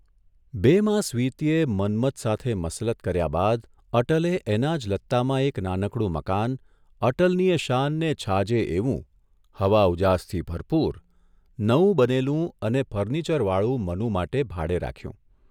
બે માસ વીત્યે મન્મથ સાથે મસલત કર્યા બાદ અટલે એના જ લત્તામાં એક નાનું મકાન, અટલનીયે શાનને છાજે એવું, હવા ઉજાસથી ભરપુર, નવું બનેલું અને ફર્નિચરવાળું મનુ માટે ભાડે રાખ્યું.